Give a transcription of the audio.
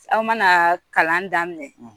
Aw mana kalan daminɛ